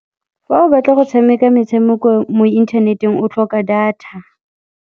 Fa o batla go tshameka metshameko mo inthaneteng, o tlhoka data.